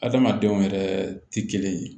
Adamadenw yɛrɛ tɛ kelen ye